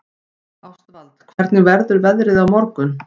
Ástvald, hvernig verður veðrið á morgun?